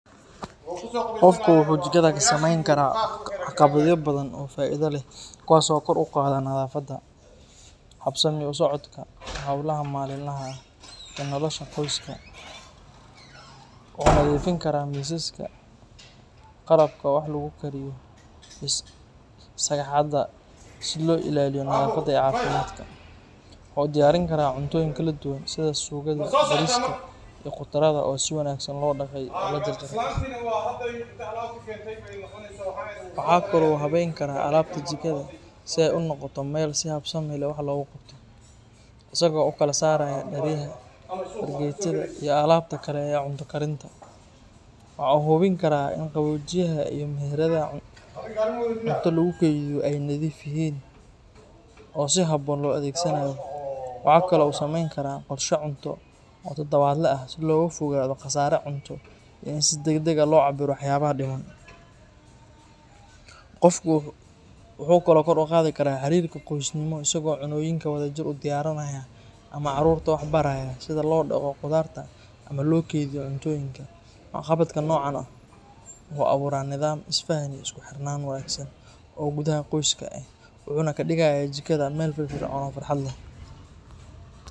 Qofku wuxuu jikada ka sameyn karaa waxqabadyo badan oo faa'iido leh kuwaas oo kor u qaada nadaafadda, habsami u socodka howlaha maalinlaha ah, iyo nolosha qoyska. Wuxuu nadiifin karaa miisaska, qalabka wax lagu kariyo, iyo sagxadda si loo ilaaliyo nadaafadda iyo caafimaadka. Waxa uu diyaarin karaa cuntooyin kala duwan, sida suugada, bariiska, iyo khudradda oo si wanaagsan loo dhaqay oo loo jarjaray. Waxa kale oo uu habeyn karaa alaabta jikada si ay u noqoto meel si habsami leh wax loogu qabto, isagoo u kala saaraya dheryaha, fargeetada, iyo alaabta kale ee cunto karinta. Waxa uu hubin karaa in qaboojiyaha iyo meheradaha cunto lagu keydiyo ay nadiif yihiin oo si haboon loo adeegsanayo. Waxa kale oo uu sameyn karaa qorshe cunto oo toddobaadle ah si looga fogaado khasaare cunto iyo in si degdeg ah loo cabbiro waxyaabaha dhiman. Qofku wuxuu kaloo kor u qaadi karaa xiriirka qoysnimo isagoo cunnooyinka wadajir u diyaariya ama carruurta waxbaraya sida loo dhaqdo khudaarta ama loo kaydiyo cuntooyinka. Waxqabadka noocan oo kale ah wuxuu abuuraa nidaam, isfahan, iyo isku xirnaan wanaagsan oo gudaha qoyska ah, wuxuuna ka dhigayaa jikada meel firfircoon oo farxad leh.